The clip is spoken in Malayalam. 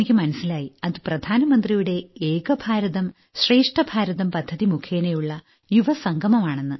എനിക്ക് മനസ്സിലായി അത് പ്രധാനമന്ത്രിയുടെ ഏകഭാരതം ശ്രേഷ്ഠഭാരതം പദ്ധതി മുഖേനയുള്ള യുവസംഗമം ആണെന്ന്